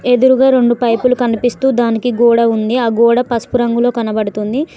ఎదురుగా రొండు పైపులు కనిపిస్తూ దానికి గోడ ఉంది ఆ గోడ పసుపు రంగులో కనబడుతుంది.